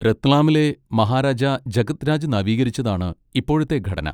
രത്ലാമിലെ മഹാരാജ ജഗത് രാജ് നവീകരിച്ചതാണ് ഇപ്പോഴത്തെ ഘടന.